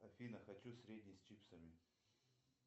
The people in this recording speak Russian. афина хочу средний с чипсами